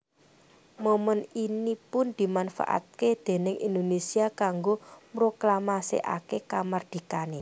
Momèn ini pun dimanfaataké déning Indonésia kanggo mroklamasèkaké kamardikané